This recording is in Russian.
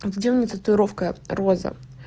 где у меня татуировка роза